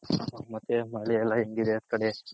ಮತ್ತೆ ಮಳೆ ಎಲ್ಲ ಹೆಂಗಿದೆ ಆ ಕಡೆ.